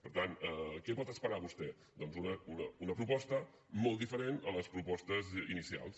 per tant què pot esperar vostè doncs una proposta molt diferent a les propostes inicials